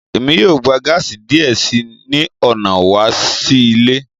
Emi yoo gba gaasi diẹ sii ni ọna wa lo si ile